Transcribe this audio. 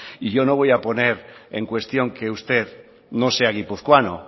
y yo no voy a poner en cuestión que usted no sea guipuzcoano